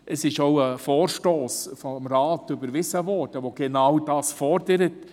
Zudem wurde vom Rat ein Vorstoss überwiesen, der genau das fordert.